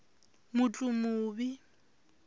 mutlumuvi